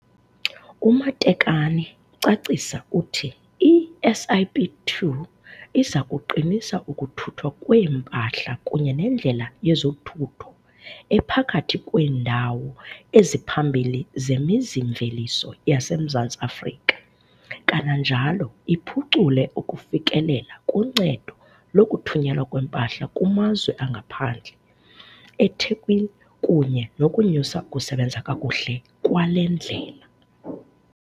UMatekane ucacisa uthi i-SIP2 iza kuqinisa ukuthuthwa kweempahla kunye nendlela yezothutho ephakathi kweendawo eziphambili zemizi-mveliso yaseMzantsi Afrika, kananjalo iphucule ukufikelela kuncedo lokuthunyelwa kwempahla kumazwe angaphandle eThekwini kunye nokunyusa ukusebenza kakuhle kwale ndlela.